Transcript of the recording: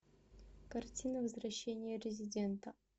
картина возвращение резидента